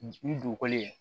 Ni dugukɔli in